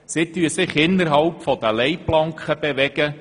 Sie bewegt sich innerhalb ihrer Leitplanken.